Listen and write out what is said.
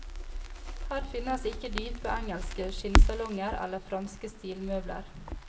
Her finnes ikke dype, engelske skinnsalonger eller franske stilmøbler.